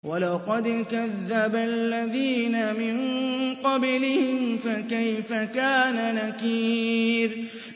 وَلَقَدْ كَذَّبَ الَّذِينَ مِن قَبْلِهِمْ فَكَيْفَ كَانَ نَكِيرِ